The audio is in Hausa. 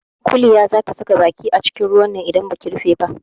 Kuliya za ta saka baki acikin ruwan nan idan baki rufe ba.